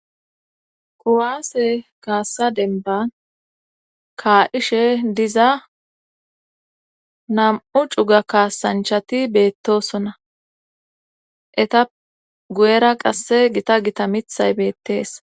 Kuwaase kaassa denban kaa7ishe diza nam7u cuga kaasanchati beettosona eta guyera qasse gita gita mithay beettees.